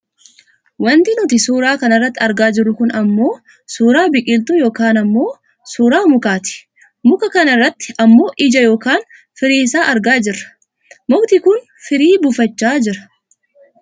Wanti nuti suuraa kana irratti argaa jirru kun ammoo suuraa biqiltuu yookaan ammoo suuraa mukaati muka kana irratti ammoo ija yookaan firii isaa argaa jirra . Mukti kun firii buufachaa jira.